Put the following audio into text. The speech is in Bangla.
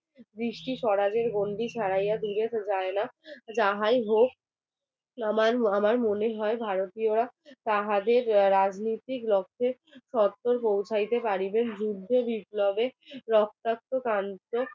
আমার আমার মনে হয় ভারতীয়রা তাহাদের রাজনীতির রক্ষে শর্ত পৌঁছাইতে পারিবেন যুদ্ধে বিপ্লবের রক্তাক্ত কান্ত